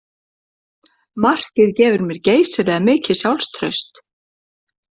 Markið gefur mér geysilega mikið sjálfstraust